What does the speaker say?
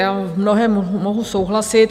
Já v mnohém mohu souhlasit.